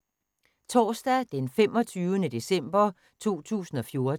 Torsdag d. 25. december 2014